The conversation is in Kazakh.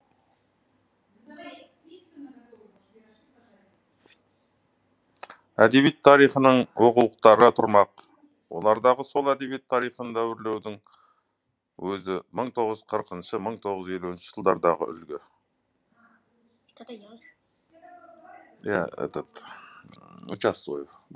әдебиет тарихының оқулықтары тұрмақ олардағы сол әдебиет тарихын дәуірлеудің өзі мың тоғыз жүз қырықыншы мың тоғыз жүз елуінші жылдардағы үлгі